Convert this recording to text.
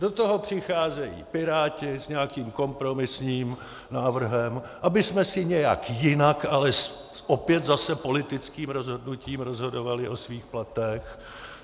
Do toho přicházejí Piráti s nějakým kompromisním návrhem, abychom si nějak jinak, ale opět zase politickým rozhodnutím, rozhodovali o svých platech.